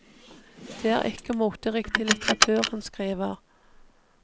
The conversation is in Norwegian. Det er ikke moteriktig litteratur han skriver.